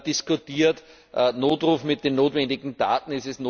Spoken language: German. diskutiert den Notruf mit den notwendigen Daten.